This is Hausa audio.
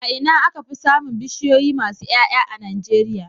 A Ina aka Fi samin bishiyoyi masu Y'ay'a a nigeria